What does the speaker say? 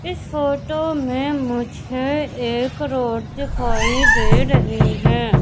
इस फोटो मे मुझे एक रोड दिखाई दे रही हैं।